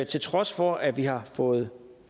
til trods for at vi har fået